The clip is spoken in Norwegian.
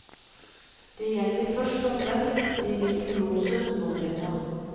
Det gjelder først og fremst de virtuose numrene.